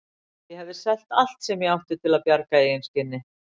Ég hefði selt allt sem ég átti til að bjarga eigin skinni.